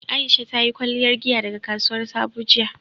Aisha ta yi kwalliyar giya daga kasuwar Sabo jiya